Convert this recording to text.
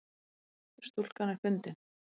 Stúlkan er fundin